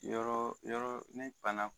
Yɔrɔ yɔrɔ ne fana